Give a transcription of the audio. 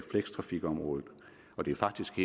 flekstrafikområdet det er faktisk